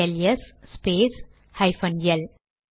LS ஸ்பேஸ் ஹைபன் L